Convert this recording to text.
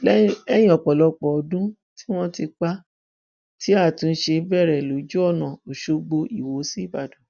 lẹyìn ọpọlọpọ ọdún tí wọn ti pa á ti àtúnṣe bẹrẹ lójú ọnà ọṣọgbó iwọ sí ìbàdàn